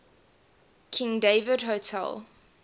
king david hotel